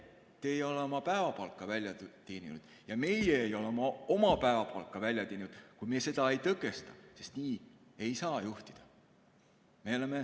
Teie ei ole oma päevapalka välja teeninud ja meie ei ole oma päevapalka välja teeninud, kui me seda ei tõkesta, sest nii ei saa juhtida.